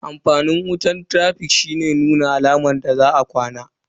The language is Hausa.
Amfanin wutan traficato shine nuna alamar za a yi ƙwana.